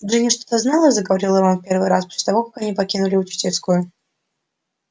джинни что-то знала заговорил рон первый раз после того как они покинули учительскую